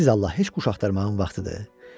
Siz Allah, heç quş axtarmağın vaxtıdır?